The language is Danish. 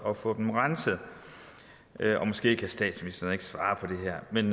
at få dem renset måske kan statsministeren ikke svare på det her men